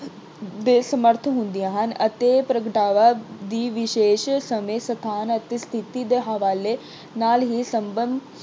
ਦੇ ਸਮਰੱਥ ਹੁੰਦੀਆਂ ਹਨ ਅਤੇ ਪ੍ਰਗਟਾਵੇ ਦੇ ਵਿਸ਼ੇਸ਼ ਸਮੇਂ ਸਥਾਨ ਅਤੇ ਸਥਿਤੀ ਦੇ ਹਵਾਲੇ ਨਾਲ ਹੀ ਸੰਭਵ